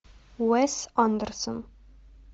уэс андерсон